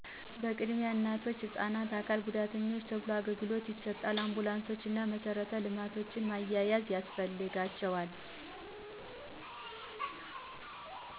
ቅድሚያ ለእናቶች፣ ህፃናት፣ ለአካል ጉዳተኞች ተብሎ አገልግሎት ይሰጣል። አንቡላንሶቾ እና መሰረተ ልማቶች ማዛዛያ ያስፈልጋቸዋል